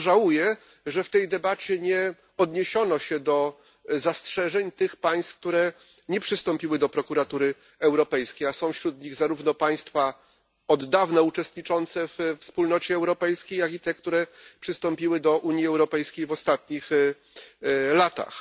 Bardzo żałuję, że w tej debacie nie odniesiono się do zastrzeżeń tych państw, które nie przystąpiły do Prokuratury Europejskiej, a są wśród nich zarówno państwa od dawna uczestniczące we Wspólnocie Europejskiej, jak i te, które przystąpiły do Unii Europejskiej w ostatnich latach.